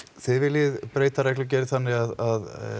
þið viljið breyta reglugerð þannig að